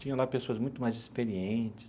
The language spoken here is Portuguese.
Tinha lá pessoas muito mais experientes.